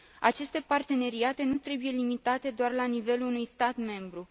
Aceste parteneriate nu trebuie limitate doar la nivelul unui stat membru.